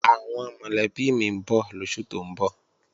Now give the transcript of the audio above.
Àwọn mọ̀lẹ́bí mi ń bọ̀ lóṣù tó ń bọ̀